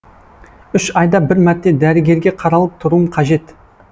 үш айда бір мәрте дәрігерге қаралып тұруым қажет